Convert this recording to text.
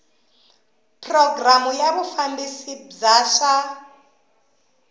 programu ya vufambisi bya swa